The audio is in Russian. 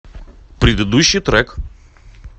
предыдущий трек